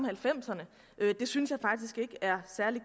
halvfemserne det synes jeg faktisk ikke er særlig